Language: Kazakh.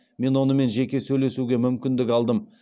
мен онымен жеке сөйлесуге мүмкіндік алдым